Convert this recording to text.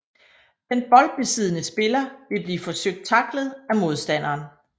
Den boldbesiddende spiller vil blive forsøgt tacklet af modstanderen